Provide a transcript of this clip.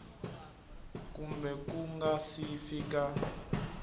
kumbe ku nga si fika